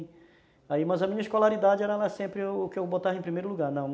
Aí, mas a minha escolaridade era sempre o que eu botava em primeiro lugar, não.